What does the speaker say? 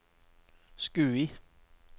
Skui